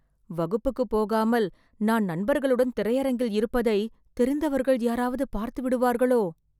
வகுப்புக்கு போகாமல் நான் நண்பர்களுடன் திரையரங்கில் இருப்பதை, தெரிந்தவர்கள் யாராவது பார்த்துவிடுவார்களோ...